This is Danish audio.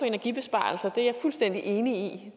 energibesparelser det er jeg fuldstændig enig